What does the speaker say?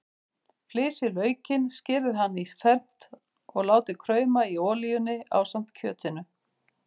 Flysjið laukinn, skerið hann í fernt og látið krauma í olíunni ásamt kjötinu.